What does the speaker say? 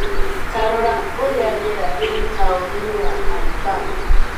Ta rora ũrĩa rĩera rĩrĩ taũni-inĩ ya Alabama